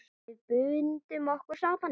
Við bundum okkur saman.